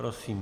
Prosím.